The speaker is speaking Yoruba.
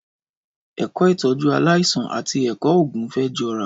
Ẹkọ ìtọjú àlàisàn àtí ẹkọ ògún fẹ jọ rà